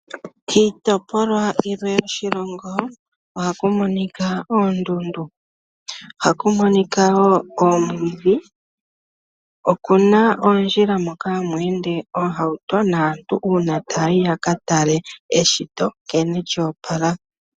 Kiitopolwa yilwe yoshilongo ohaku monika oondundu, ohaku monika wo omwiidhi. Okuna oondjila hoka hamu ende oohauto naantu uuna ta yayi ya ka tale eshito nkene lyoopala.